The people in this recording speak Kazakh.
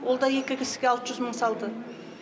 ол да екі кісіге алты жүз мың салды